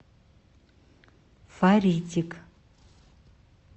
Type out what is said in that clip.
фаритик